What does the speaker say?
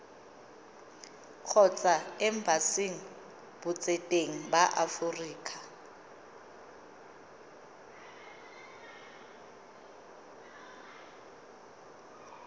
kgotsa embasing botseteng ba aforika